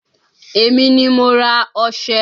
Èmi ni mo ra ọșẹ.